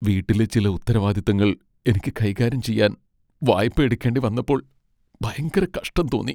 വീട്ടിലെ ചില ഉത്തരവാദിത്തങ്ങൾ എനിക്ക് കൈകാര്യം ചെയ്യാൻ വായ്പയെടുക്കേണ്ടി വന്നപ്പോൾ ഭയങ്കര കഷ്ടം തോന്നി.